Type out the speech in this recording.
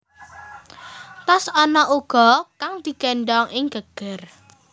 Tas ana uga kang digéndhong ing geger